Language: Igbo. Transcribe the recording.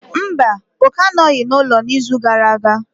Mba, Oke anọghị n'ụlọ n'izu gara aga.